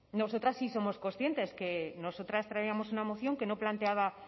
nosotras sí somos conscientes que nosotras traíamos una moción que no planteaba